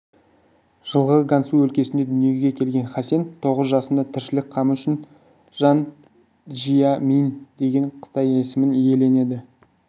жылғы гансу өлкесінде дүниеге келген хасен тоғыз жасында тіршілік қамы үшін жан жия мин деген қытай есімін иеленді